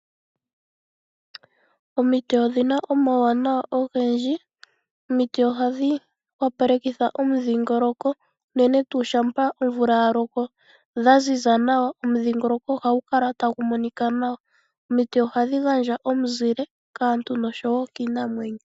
Omiti odhina omawuwanawa ogendji, omiti ohadhi wapalekitha omudhingoloko unene tuu shampa omvula ya loka dhaziza nawa omudhingoloko ohagu kala tagu monika nawa, omiti ohadhi gandja omuzile kaantu nokiinamweno.